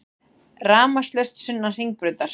Rafmagnslaust sunnan Hringbrautar